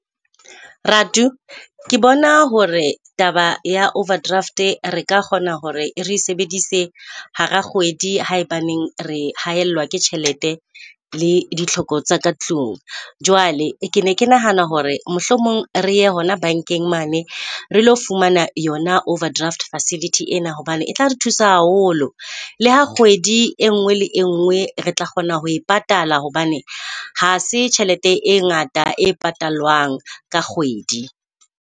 Ratu ke bona hore taba ya overdraft, re ka kgona hore e re sebedise hara kgwedi haebaneng re haellwa ke tjhelete le ditlhoko tsaka tlung. Jwale ke ne ke nahana hore mohlomong re ye hona bankeng mane. Re lo fumana yona overdraft facility ena hobane e tla re thusa haholo. Le ha kgwedi engwe le engwe re tla kgona ho e patala, hobane ha se tjhelete e ngata e patalwang ka kgwedi.